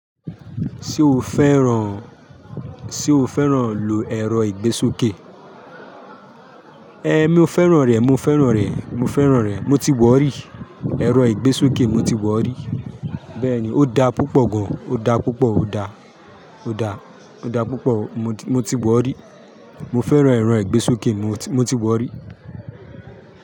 Ṣé o fẹ́ràn, ṣe o fẹ́ràn lo ẹrọ ìgbésókè? Eh mi o fẹ́ràn rẹ, mo fẹ́ràn rẹ, mo fẹ́ràn rẹ. Mo ti wọ̀ rí, ẹrọ ìgbésókè mo ti wọ̀ rí. Bẹ́ẹ̀ni, ó da púpọ̀ gan. Ó da púpọ̀, ó da, ó da, ó da púpọ̀. Mo ti wọ̀ rí. Mo fẹ́ràn ẹ̀rọ ìgbésókè, mo ti wọ̀ rí.